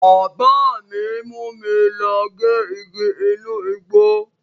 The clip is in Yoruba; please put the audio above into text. Bábà mi mú mi lọ gé igi inú igbó.